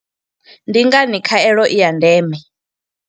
Ndi ngani khaelo i ya ndeme?